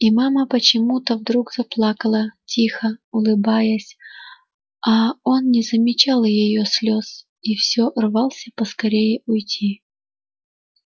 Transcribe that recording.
и мама почему-то вдруг заплакала тихо улыбаясь а он не замечал её слез и всё рвался поскорее уйти